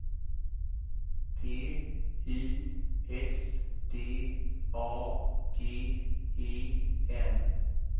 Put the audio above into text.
T I S D A G E N